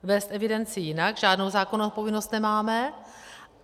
Vést evidenci jinak žádnou zákonnou povinnost nemáme.